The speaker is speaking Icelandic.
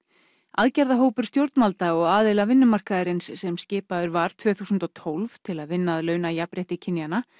aðgerðahópur stjórnvalda og aðila vinnumarkaðarins sem skipaður var tvö þúsund og tólf til að vinna að launajafnrétti kynjanna